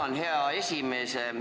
Tänan, hea esimees!